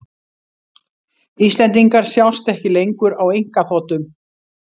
Íslendingar sjást ekki lengur á einkaþotum